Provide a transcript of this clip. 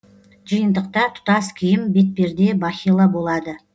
жиынтықта тұтас киім бетперде бахила болады